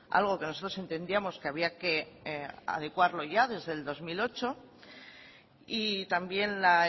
algo que nosotros entendíamos que había que adecuarlo ya desde el dos mil ocho y también la